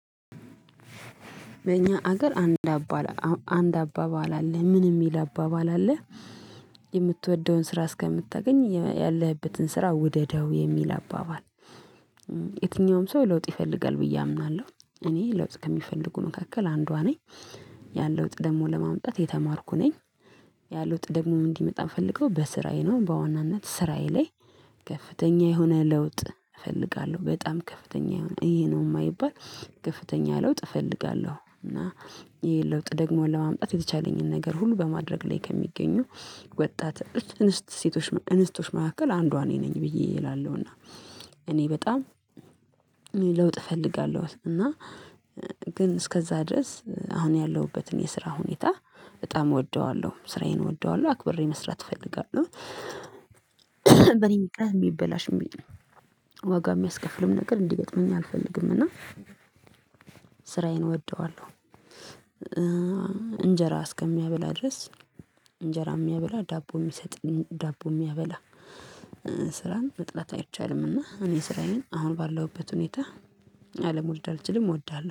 በእኛ ሀገር አንድ አባል አንድ አባባል አለ ምን የሚል አባባል አለ? የምትወደውን ስራ እስከምታገኝ ያለህበትን ስራ ውደደው የሚል አባባል። የትኛውም ሰው ለውጥ ይፈልጋል ብዬ አምናለሁ እኔ ለውጥ ከሚፈልጉ መካከል አንዷ ነኝ። ያን ለውጥ ደግሞ ለማምጣት የተማርኩ ነኝ። ያለ ለውጥ ደግሞ እንዲመጣ ምፈለገው በስራዬ ነው በዋናነት ስራዬ ላይ። ከፍተኛ የሆነ ለውጥ እፈልጋለሁ በጣም ከፍተኛ የሆነ ይሄ ነው የማይባል ከፍተኛ ለውጥ እፈልጋለሁ። እና ይሄ ለውጥ ደግሞ ለማምጣት የተቻለኝን ነገር ሁሉ በማድረግ ላይ ከሚገኙ ወጣት አህት እንስት ሴቶች እንስቶች መካከል አንዷ እኔ ነኝ ብዬ እላለሁና። እኔ በጣም እኔ ለውጥ እፈልጋለሁ እና ግን እስከዛ ድረስ አሁን ያለሁበትን የስራ ሁኔታ በጣም እወደዋለሁ ስራዬን እወደዋለሁ አክብሬ መስራት እፈልጋለሁ። በኔም ቀን ሚበላሽ የሚል ዋጋ የሚያስከፍልም ነገር እንዲገጥመኝ አልፈልግም። እና ስራዬን እወደዋለሁ። እንጀራ እስከሚያበላ ድረስ እንጀራ የሚያበላ ዳቦ የሚሰጠኝ ዳቦ የሚያበላ። ስራን መጥላት አይቻልምና እኔ ስራዬን አሁን ባለሁበት ሁኔታ። አለመውደድ አልችልም እወዳለሁ